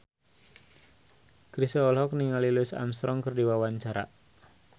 Chrisye olohok ningali Louis Armstrong keur diwawancara